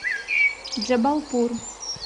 джабалпур